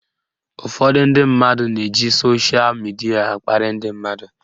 Ụfọdụ ndị mmadụ na-eji soshal midia akparị ndị mmadụ